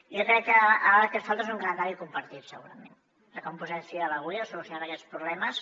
jo crec que ara el que fa falta és un calendari compartit segurament de com posem fil a l’agulla per solucionar aquests problemes